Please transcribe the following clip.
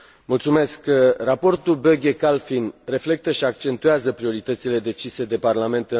Raportul Böge Kalfin reflectă și accentuează prioritățile decise de Parlament în raportul SURE.